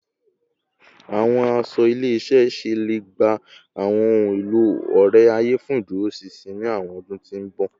Awọn aṣọ ile-iṣẹ iṣẹ le gba awọn ohun elo ore-aye fun iduroṣinṣin ni awọn ọdun ti n bọ